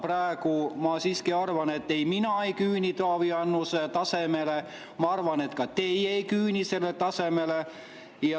Praegu ma siiski arvan, et mina ei küüni Taavi Annuse tasemeni, ja ma arvan, et ka teie ei küüni selle tasemeni.